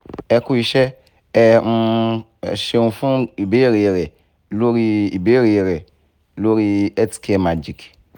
e ku iṣẹ́ ẹ um ṣeun fún ibeere rẹ̀ lórí ibeere rẹ̀ lórí healthcare magic